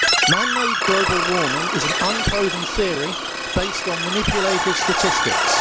Man made global warming is an unproven theory based on manipulative statistics.